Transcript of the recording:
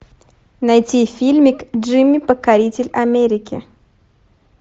найти фильмик джимми покоритель америки